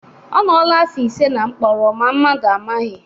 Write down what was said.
Ọ nọọla afọ ise na mkpọrọ ma mmadụ amaghị.